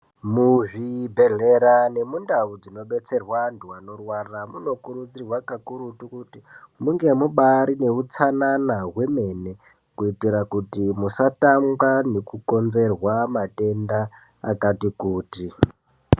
Mubhedhlera nemundau dzinobetserwa andu anorwara munokurudzirwa kakurutu kuti munge mubarine utsanana hwemene, kuitira kuti musatanga nekukonzerwa matenda akati kuti.